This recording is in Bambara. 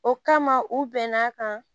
O kama u bɛn'a kan